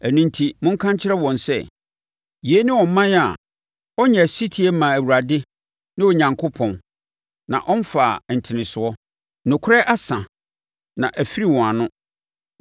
Ɛno enti monka nkyerɛ wɔn sɛ, ‘Yei ne ɔman a ɔnyɛɛ ɔsetie mmaa Awurade, ne Onyankopɔn, na ɔmfaa ntenesoɔ. Nokorɛ asa, na afiri wɔn ano.